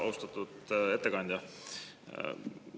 Austatud ettekandja!